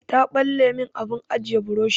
Ta ɓalle min abin ajiye burushi.